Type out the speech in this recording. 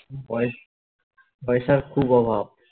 পয় পয়সার খুব অভাব